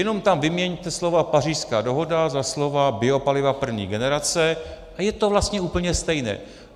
Jenom tam vyměňte slova Pařížská dohoda za slova biopaliva první generace a je to vlastně úplně stejné.